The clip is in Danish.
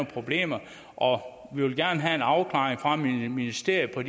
problemer og vi vil gerne have en afklaring fra ministeriet med